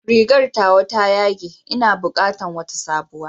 Rigar tawa ta yage, ina bukatan wata sabuwa.